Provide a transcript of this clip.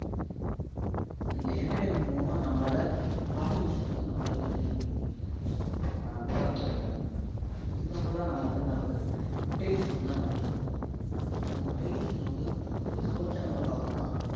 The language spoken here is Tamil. இந்த entertainment மூலமா நம்மளால பல விஷயம் நம்மளால தெரிஞ்சிக்க முடியும் அஹ் because example லா நம்ம வந்து என்ன சொல்றது television ன வந்து நம்ம் எடுத்துபோம் இப்போ நம்ம ல வந்து ஒரு sports channel ல பார்க்கிறோம்னா